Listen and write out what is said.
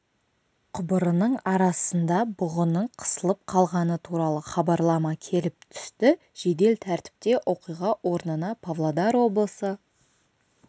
құбырының арасында бұғының қысылып қалғаны туралы хабарлама келіп түсті жедел тәртіпте оқиға орнына павлодар облысы